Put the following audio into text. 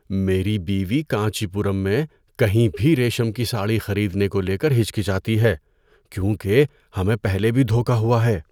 میری بیوی کانچی پورم میں کہیں بھی ریشم کی ساڑی خریدنے کو لے کر ہچکچاتی ہے کیونکہ ہمیں پہلے بھی دھوکہ ہوا ہے۔